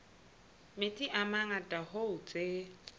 metsi a mangata hoo tse